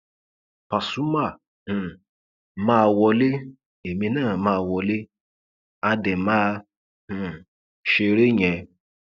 pasumà um máa wọlé èmi náà máa wọlé á dé máa um ṣeré yẹn